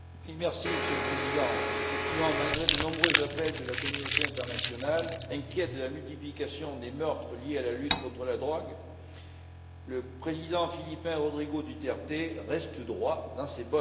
Monsieur le Président, effectivement, malgré de nombreux appels de la communauté, inquiète de la multiplication des meurtres liés à la lutte contre la drogue, le président philippin, Rodrigo Duterte, reste droit dans ses bottes.